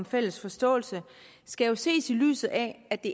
fælles forståelse skal ses i lyset af at det